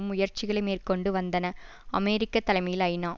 முயற்சிகளை மேற்கொண்டு வந்தன அமெரிக்க தலைமையில் ஐநா